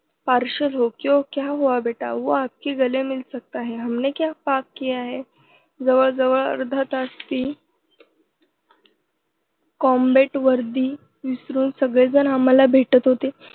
partial हो क्यों? क्या हुआ बेटा? वो आपके गले मिल सकता है, हमने क्या पाप किया? जवळजवळ अर्धा तास ती combat वर्दी विसरून सगळेजण आम्हांला भेटत होते.